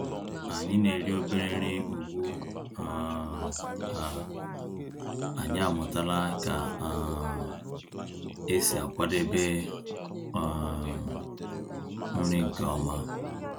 Ànyị́ ná-èrí òbérè nrí ugbu um à ànyị́ àmụ̀tàlà kà um ésí àkwàdébé um nrí nkè ọ̀ma.